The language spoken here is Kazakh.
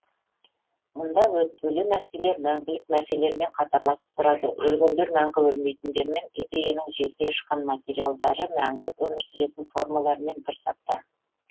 мұнда өтпелі нәрселер мәңгілік нәрселермен қатарласып тұрады өлгендер мәңгі өлмейтіндермен идеяның желге ұшқан материалдары мәңгі өмір сүретін формалармен бір сапта